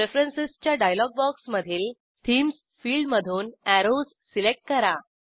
प्रेफरन्सेसच्या dialogue बॉक्समधील themes field मधून arrows select करा